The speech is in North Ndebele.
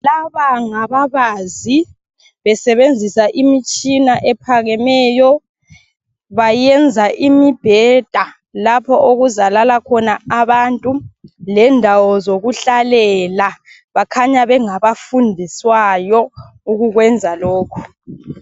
Laba ngababazi. Besebenziss imitshina ephakemeyo. Bayenza imibheda. Lapho okuzalala khona abantu. Lendawo yokuhlalela. Bakhanya ngabafundiswayo, ukukwenza lokho.